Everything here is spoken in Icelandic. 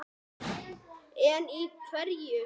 En í hverju?